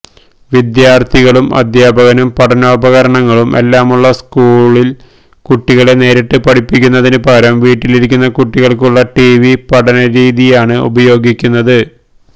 വിദ്യാര്ഥികളും അധ്യാപകനും പഠനോപകരണങ്ങളും എല്ലാമുള്ള സ്കൂളില് കുട്ടികളെ നേരിട്ട് പഠിപ്പിക്കുന്നതിനു പകരം വീട്ടിലിരിക്കുന്ന കുട്ടികള്ക്കുള്ള ടിവി പഠന രീതിയാണ് ഉപയോഗിക്കുന്നത്